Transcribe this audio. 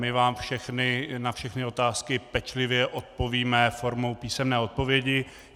My vám na všechny otázky pečlivě odpovíme formou písemné odpovědi.